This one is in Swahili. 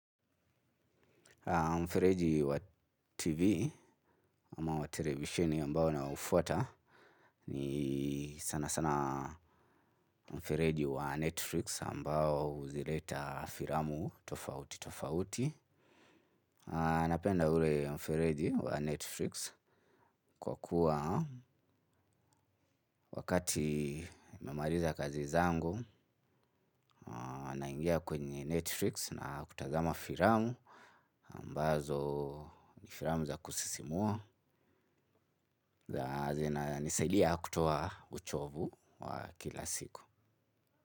Mfereji wa TV ama wa televisheni ambao naufuata ni sana sana mfereji wa Netflix ambao huzileta filamu tofauti tofauti. Napenda ule mfereji wa Netflix kwa kuwa wakati nimemaliza kazi zangu naingia kwenye Netflix na kutazama filamu ambazo ni filamu za kusisimua. Nisaidia kutoa uchovu wa kila siku.